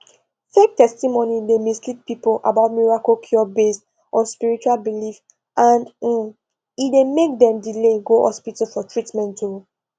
fake testimony dey mislead people about miracle cure based on spiritual belief and um e dey make dem delay go hospital for treatment um